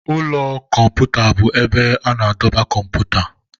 Ụlọ kọmputa bụ ebe a na-edebe kọmputa.